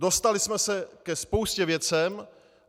Dostali jsme se ke spoustě věcí.